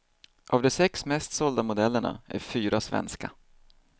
Av de sex mest sålda modellerna är fyra svenska.